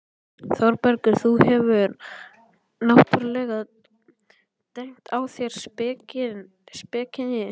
ÞÓRBERGUR: Þú hefur náttúrlega dengt á þær spekinni.